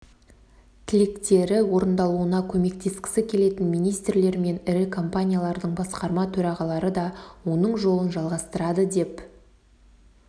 тілектері орындалуына көмектескісі келетін министрлер мен ірі компаниялардың басқарма төрағалары да оның жолын жалғастырады деп